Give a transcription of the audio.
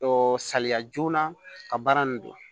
saliya joona ka baara nin dilan